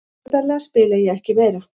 Opinberlega spila ég ekki meira.